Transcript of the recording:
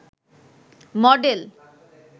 model